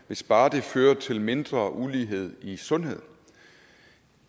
hvis bare det fører til mindre ulighed i sundhed